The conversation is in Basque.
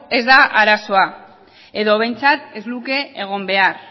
ez da arazoa edo behintzat ez luke egon behar